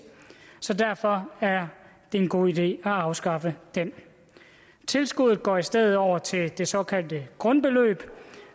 så derfor er det en god idé at afskaffe den tilskuddet går i stedet over til det såkaldte grundbeløb